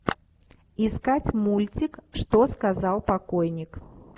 искать мультик что сказал покойник